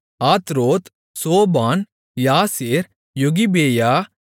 Atroth Shophan Jaazer Jogbehah